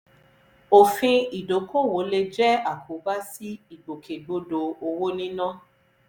òfin ìdókòwò lè jẹ́ àkóbá sí ìgbòkègbodò owó níná.